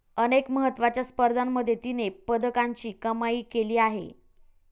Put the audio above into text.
अनेक महत्वाच्या स्पर्धांमध्ये तिने पदकांची कमाई केली आहे.